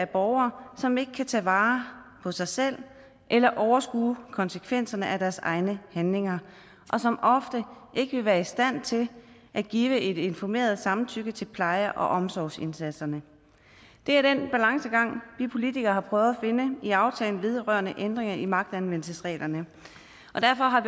borgere som ikke kan tage vare på sig selv eller overskue konsekvenserne af deres egne handlinger og som ofte ikke vil være i stand til at give et informeret samtykke til pleje og omsorgsindsatserne det er den balancegang vi politikere har prøvet finde i aftalen vedrørende ændringer i magtanvendelsesreglerne og derfor har